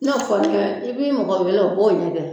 N'o kɛ i b'i mɔgɔ wele o b'o ɲɛgɛ